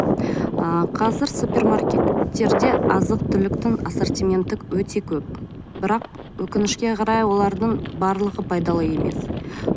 ы қазір супермаркеттерде азық түліктің ассортименті өте көп бірақ өкінішке қарай олардың барлығы пайдалы емес